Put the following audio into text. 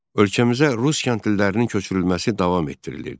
Ölkəmizə rus kəndlilərinin köçürülməsi davam etdirilirdi.